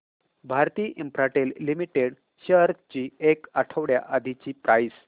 Bharti Infratel Limited shares ची एक आठवड्या आधीची प्राइस